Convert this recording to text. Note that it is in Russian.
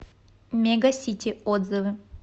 мега сити отзывы